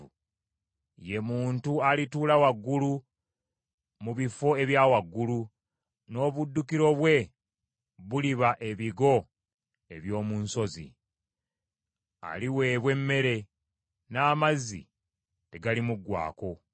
ye muntu alituula waggulu mu bifo ebya waggulu, n’obuddukiro bwe buliba ebigo eby’omu nsozi. Aliweebwa emmere, n’amazzi tegalimuggwaako.